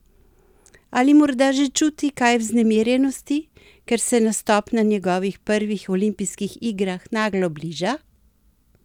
Ali morda že čuti kaj vznemirjenosti, ker se nastop na njegovih prvih olimpijskih igrah naglo bliža?